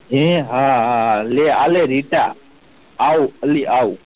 એ હા હા હા લે આ લે રીતા આવું અલી આવું